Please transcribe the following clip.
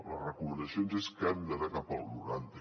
les recomanacions és que hem d’anar cap al noranta